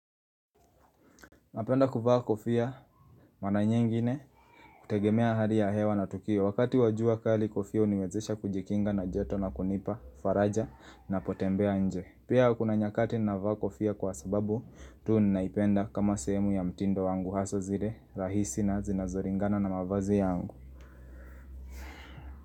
Napenda kuvaa kofia mara nyengine kutegemea hali ya hewa na tukio. Wakati wa jua kali kofia huniwezesha kujikinga na joto na kunipa, faraja napotembea nje. Pia kuna nyakati navaa kofia kwa sababu tuu ninaipenda kama sehemu ya mtindo wangu hasaa zile rahisi na zinazolingana na mavazi yangu.